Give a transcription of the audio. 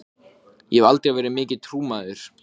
Ég hef aldrei verið mikill trúmaður.